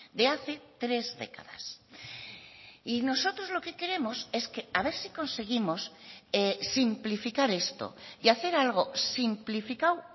de hace tres décadas y nosotros lo que queremos es que a ver si conseguimos simplificar esto y hacer algo simplificado